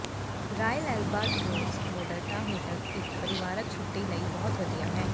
royal albatross ਮੋਡਰਡਾ hotel ਇਕ ਪਰਿਵਾਰਕ ਛੁੱਟੀ ਲਈ ਬਹੁਤ ਵਧੀਆ ਹੈ